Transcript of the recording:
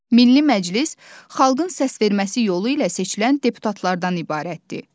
Milli Məclis xalqın səsverməsi yolu ilə seçilən deputatlardan ibarətdir.